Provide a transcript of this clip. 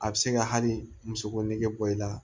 A bɛ se ka hali musoge bɔ i la